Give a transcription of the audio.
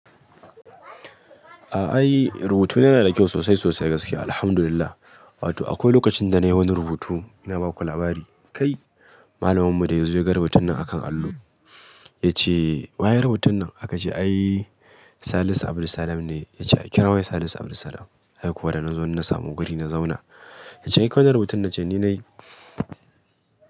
A'a, yi rubutu na yana da kyau sosai sosai gaskiya, Alhamdulillah. Wato akwai lokacin da na yi wani rubutu, ina ba ku labari. Kai, malaminmu da ya zo ya ga rubutun nan a kan allo ya ce, "Wa ya yi rubutun nan?" aka ce, "Ai, Salisu Abdul Salam ne." Ya ce, "A kira wa Salisu Abdul Salam." Har kuwa da na zo na samu guri na zauna. Ya ce, "Kai kawai ne rubutun nan?" Na ce, "Ni ne."